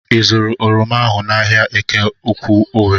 I zụụrụ oroma ahụ n'ahia Eke Ukwu Owere?